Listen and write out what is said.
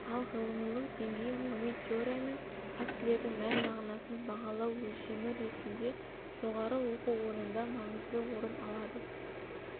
ал ғылымилық деңгей ғылыми теория мен фактілердің мән-мағынасын бағалау өлшемі ретінде жоғары оқу орнында маңызды орын алады